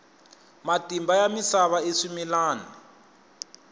matimba ya misava i swimilwana